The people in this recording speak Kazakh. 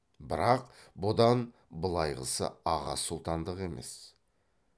бірақ бұдан былайғысы аға сұлтандық емес